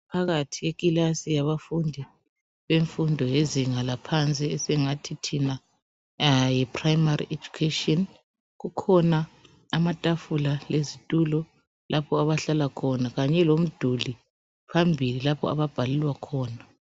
Phakathi ikilasi yabafundi bemfundo yezinga laphansi esingathi thina Yi primary education. Kukhona amatafula lezitulo lapho abahlala khona kanye lomduli phambili lapho ababhalelwa khona.